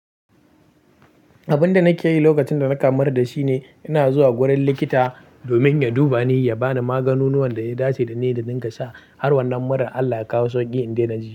Abinda nake yi lokacin da nake mura shine ina zuwa wurin likita domin ya duba ni ya bani maganin wanda ya dace da ni da dinka sha har wannan murar Allah ya kawo sauƙi in daina ji.